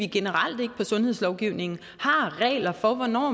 generelt inden for sundhedslovgivningen har regler for hvornår